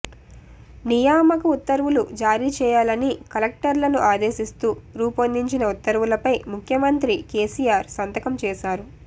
నియామక ఉత్తర్వులు జారీ చేయాలని కలెక్టర్లను ఆదేశిస్తూ రూపొందించిన ఉత్తర్వులపై ముఖ్యమంత్రి కెసిఆర్ సంతకం చేశారు